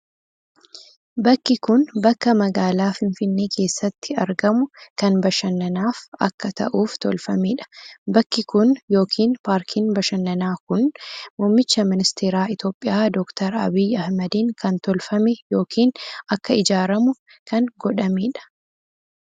Bakki kun, bakka magaalaa finfinnee keessatti argamu kan bashannanaaf akka ta'uuftolfamee dha. Bakki kun yokin paarkiin bashannanaa kun, muummicha ministeeraa Itoophiyaa Doktar Abiyyi Ahimadiin kan tolfame yokin akka ijaaramu kan godamee dha.